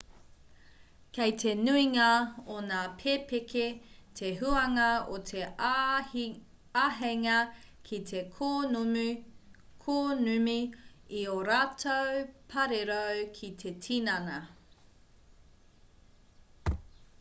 kei te nuinga o ngā pepeke te huanga o te āheinga ki te kōnumi i ō rātou parirau ki te tinana